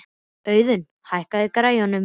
Auðun, hækkaðu í græjunum.